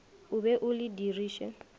o be o le diriše